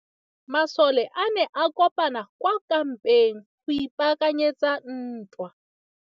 Masole a ne a kopane kwa kampeng go ipaakanyetsa ntwa.